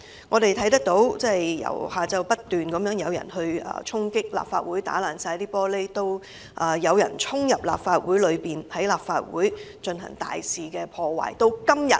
我們看到由下午開始，不斷有人衝擊立法會，毀爛玻璃，之後更有人衝入立法會內大肆破壞。